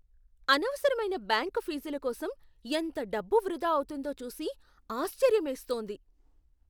అనవసరమైన బ్యాంకు ఫీజుల కోసం ఎంత డబ్బు వృధా అవుతోందో చూసి ఆశ్చర్యమేస్తోంది.